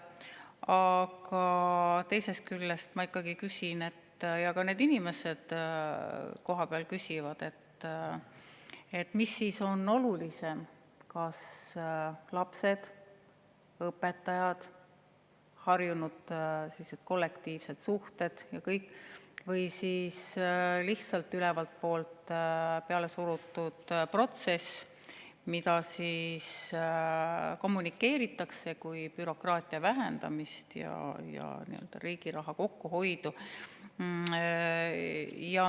Aga teisest küljest ma ikkagi küsin ja ka need inimesed kohapeal küsivad, mis on siis olulisem, kas lapsed, õpetajad, harjumus kollektiivsed suhted, kõik see, või siis lihtsalt ülevalt poolt pealesurutud protsess, mida kommunikeeritakse kui bürokraatia vähendamist ja riigi raha kokkuhoidu.